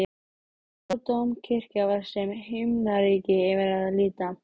Hóladómkirkja var sem himnaríki yfir að líta.